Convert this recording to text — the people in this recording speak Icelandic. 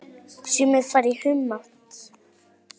Sumir fara í humátt.